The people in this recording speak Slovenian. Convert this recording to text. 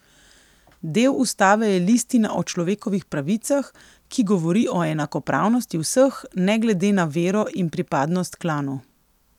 Del ustave je listina o človekovih pravicah, ki govori o enakopravnosti vseh ne glede na vero in pripadnost klanu.